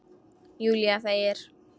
Júlía þegir.